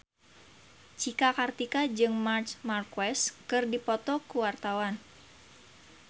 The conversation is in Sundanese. Cika Kartika jeung Marc Marquez keur dipoto ku wartawan